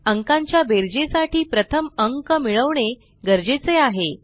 अंकांच्या बेरजेसाठी प्रथम अंक मिळवणे गरजेचे आहे